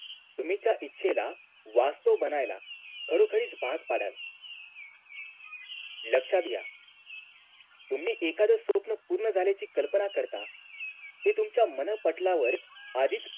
तुम्ही त्या इच्छेला वास्तव बनायला खरोखरीच भाग पाडाल लक्ष्यात घ्या तुम्ही एखाद स्वप्न पूर्ण झाल्याची कल्पना करता ते तुमच्या मनःपटलावर आधीच